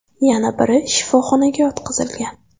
Yana biri shifoxonaga yotqizilgan.